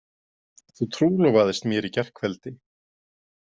Þú trúlofaðist mér í gærkveldi.